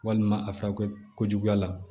Walima a fari kɛ ko juguya la